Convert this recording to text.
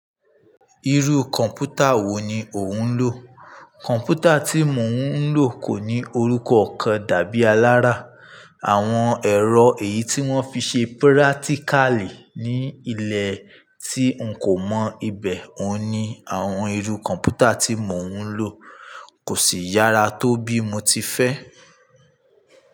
Irú kọ̀m̀pútà wo ni o ń lò? Kọ̀m̀pútà tí mò ń lò kò ní orúkọ kan dàbí alára. Àwọn ẹ̀rọ èyí tí wón fi ṣe pírátíkàlí ní ilẹ̀ tí n kò mọ ibẹ̀ òun ní, àwọn irú kọ̀m̀pútà tí mò ń lò kò sì yára tó bí mo ti fẹ́.